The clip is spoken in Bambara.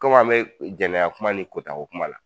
Kɔmi an bɛ janaya kuma ni kɔta ko kuma la